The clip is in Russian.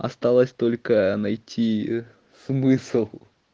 осталось только найти смысл